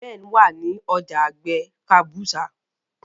Ben wá ní ọjà àgbè kabusa